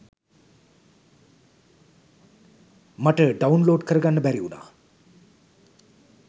මට ඩවුන්ලෝඩ් කරගන්න බැරි උනා.